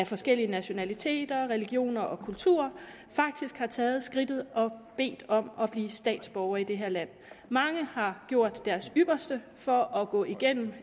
forskellige nationaliteter religioner og kulturer faktisk har taget skridtet og bedt om at blive statsborger i det her land mange har gjort deres ypperste for at gå igennem